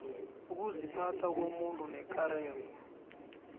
ukuziphatha komuntu nekareko